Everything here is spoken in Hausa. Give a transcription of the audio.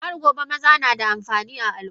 Hargobe maza nada amfani a Al umma.